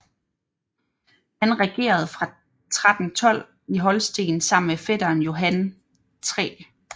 Han regerede fra 1312 i Holsten sammen med fætteren Johan 3